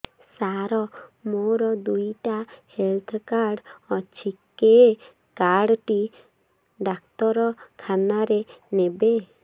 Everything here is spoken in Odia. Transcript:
ସାର ମୋର ଦିଇଟା ହେଲ୍ଥ କାର୍ଡ ଅଛି କେ କାର୍ଡ ଟି ଡାକ୍ତରଖାନା ରେ ନେବେ